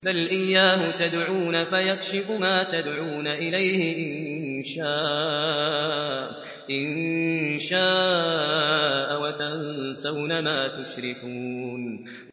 بَلْ إِيَّاهُ تَدْعُونَ فَيَكْشِفُ مَا تَدْعُونَ إِلَيْهِ إِن شَاءَ وَتَنسَوْنَ مَا تُشْرِكُونَ